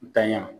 N tanɲa